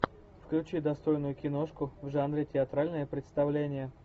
включи достойную киношку в жанре театральное представление